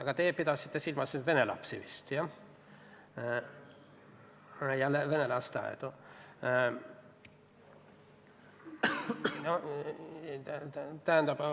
Aga teie pidasite vist silmas vene lapsi ja vene lasteaedu.